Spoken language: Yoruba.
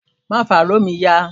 ma fa ìwé mí yá!